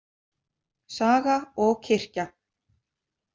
Saga og kirkja.